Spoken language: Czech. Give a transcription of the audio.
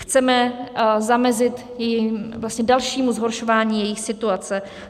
Chceme zamezit dalšímu zhoršování jejich situace.